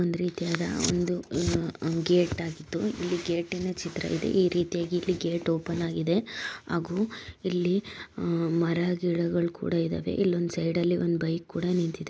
ಒಂದ್ ರೀತಿಯಾದ ಒಂದು ಅಹ್ ಅಹ್ ಗೇಟ್ ಆಗಿದ್ದು ಇಲ್ಲಿ ಗೇಟಿನ ಚಿತ್ರವಿದೆ. ಈ ರೀತಿಯಾಗಿ ಇಲ್ಲಿ ಗೇಟ್ ಓಪನ್ ಆಗಿದೆ ಹಾಗೂ ಇಲ್ಲಿ ಅಹ್ ಮರ ಗಿಡಗಳು ಕೂಡ ಇದಾವೆ ಇಲ್ಲೊಂದ್ ಸೈಡ್ ಅಲ್ಲಿ ಒಂದ್ ಬೈಕ್ ಕೂಡ ನಿಂತಿದೆ.